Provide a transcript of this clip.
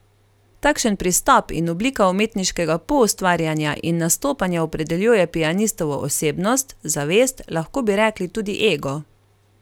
Takšen pristop in oblika umetniškega poustvarjanja in nastopanja opredeljuje pianistovo osebnost, zavest, lahko bi rekli tudi ego.